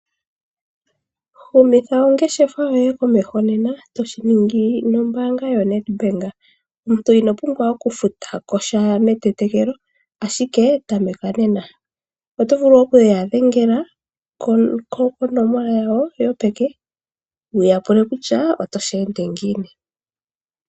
Humitha ongeshefa yoye komeho nena, toshi ningi nombaanga yoNedbank. Omuntu ino pumbwa okufuta ko sha metetekelo, ashike tameka nena. Oto vulu okuya dhengela konomola yawo yopeke, wu ya pule kutya otashi ende ngiini.